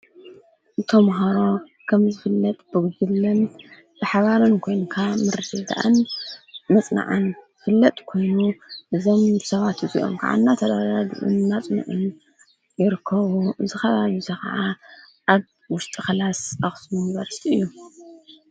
ተምሃሮ ከምዝፍለጥ ብጉጅለን ብሓባርን ኮይንካ ምርድዳእን ምፅናዕን ዝፍለጥ ኮይኑ፤ እዞም ሰባት እዚኦም ከዓ እናተረዳድኡን እናፅንዑን ይርከቡ፡፡ እዚ ከባቢ እዚ ከዓ አብ ውሽጢ ክላስ አክሱም ዩኒቨርሲቲ እዩ፡፡